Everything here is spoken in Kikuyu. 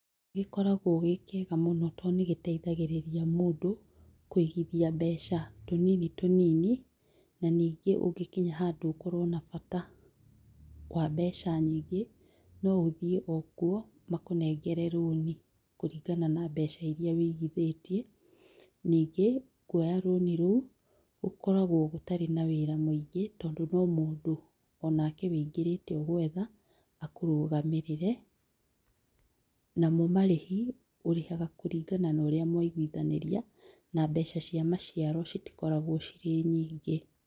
Gĩkoragũo gĩ kĩega mũno tondũ nĩ gĩteithagĩrĩria mũndũ kũigithia mbeca tũnini tũnini, na ningĩ ũngĩkinya handũ ũkorũo na bata wa mbeca nyingĩ, no ũthiĩ o kuo makũnengere rũni kũringana na mbeca iria ũigithĩtie, ningĩ, kũoya rũni rũu gũkoragũo gũtarĩ na wĩra mwingĩ, tondũ no mũndũ o nake ũingĩrĩte ũgwetha, akũrũgamĩrĩre, namo marĩhi, ũrĩhaga kũringana na ũrĩa mwaigwithanĩria, na mbeca cia maciaro citikoragũo cirĩ nyingĩ.